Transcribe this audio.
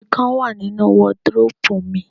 Ikán wà nínu wọdróòpù mi.